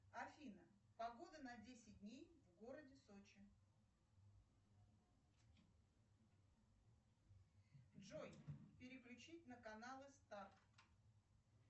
афина погода на десять дней в городе сочи джой переключить на каналы старт